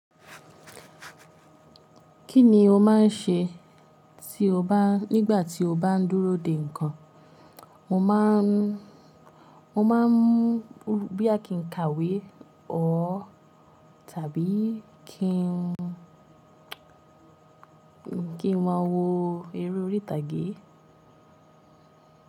Kí ni o má n ṣe tí o bá nígbà tí o bá n dúró dè nǹkan? Mo má n mo má n boya kí n kàwé or tàbí kí n kí n máa wo eré orí ìtàgé.